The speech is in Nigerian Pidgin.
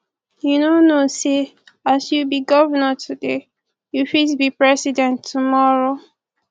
you no know sey as you be governor today you fit be president tomorrow